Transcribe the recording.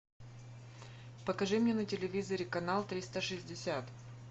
покажи мне на телевизоре канал триста шестьдесят